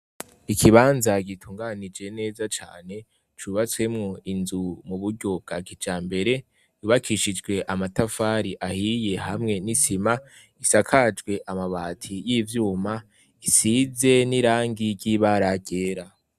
Ikibanza gitunganije neza cane cubatswemwo inzu mu buryo bwa kijambere, yubakishijwe amatafari ahiye hamwe n'isima, isakajwe amabati y'ivyuma, isize n'irangi ry'ibara ryera.